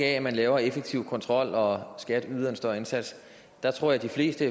at man laver en effektiv kontrol og skat yder en større indsats der tror jeg de fleste